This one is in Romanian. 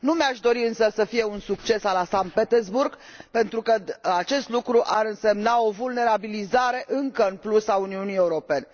Nu mi aș dori însă să fie un succes a la Sankt Petersburg, pentru că acest lucru ar însemna o vulnerabilizare în plus a Uniunii Europene.